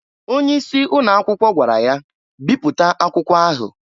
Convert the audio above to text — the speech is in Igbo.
Onye isi ụnọ akwụkwọ gwara ya, "Biputa akwụkwa ahu!"